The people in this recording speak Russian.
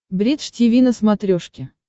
бридж тиви на смотрешке